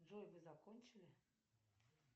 джой вы закончили